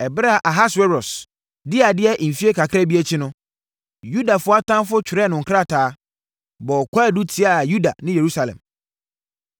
Ɛberɛ a Ahasweros dii adeɛ mfeɛ kakra bi akyi no, Yudafoɔ atamfoɔ twerɛɛ no krataa, bɔɔ kwaadu tiaa Yuda ne Yerusalem.